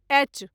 H